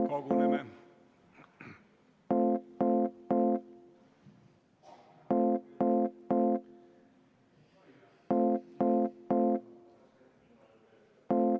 Koguneme!